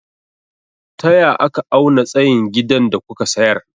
Taya aka auna tsayin gidan da kuka sayar?